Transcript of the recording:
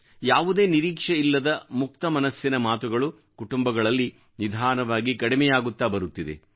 ಯಾವುದೇ ನಿರೀಕ್ಷೆಯಿಲ್ಲದ ಮುಕ್ತಮನಸ್ಸಿನ ಮಾತುಗಳು ಕುಟುಂಬಗಳಲ್ಲಿ ನಿಧಾನವಾಗಿ ಕಡಿಮೆಯಾಗುತ್ತ ಬರುತ್ತಿದೆ